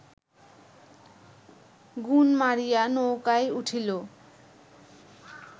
গুণ মারিয়া নৌকায় উঠিল